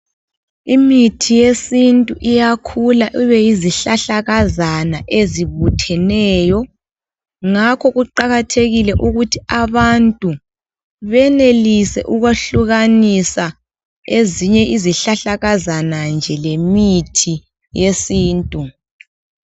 Imithi yesintu iyakhula ibe izihlahlakazana ezibutheneyo ngakho kuqakathekile ukuthi abantu benelise ukwehlukanisa ezinye izihlahlakazana nje lemithi esintu.